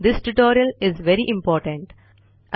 this tutorial is very important